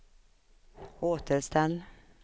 återställ